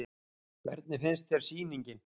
Hvernig finnst þér sýningin?